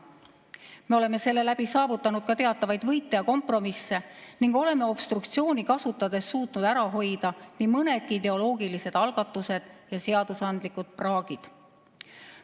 Me oleme selle kaudu saavutanud ka teatavaid võite ja kompromisse ning oleme obstruktsiooni kasutades suutnud ära hoida nii mõnedki ideoloogilised algatused ja seadusandlikud praagid.